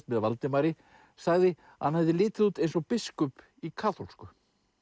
með Valdimari sagði að hann hefði litið út eins og biskup í kaþólsku